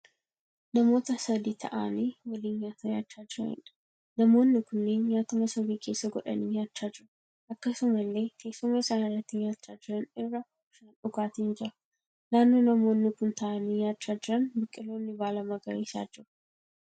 Namoota sadii ta'aanii waliin nyaata nyaachaa jiraniidha. Namoonni kunneen nyaata masoobii keessa godhanii nyaachaa jiru. Akkasumallee teessuma isaan irratti nyaachaa jiran irraa bishaan dhugaatiin jira. Naannoo namoonni kun ta'aanii nyaachaa jiran biqiloonni baala magariisaa jiru.